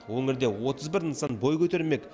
өңірде отыз бір нысан бой көтермек